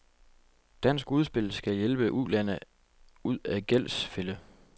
Dansk udspil skal hjælpe ulande ud af gældsfælde.